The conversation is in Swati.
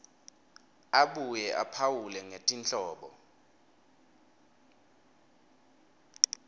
abuye aphawule ngetinhlobo